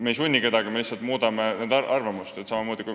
Me ei sunniks kedagi, me lihtsalt muudaksime inimeste arvamust.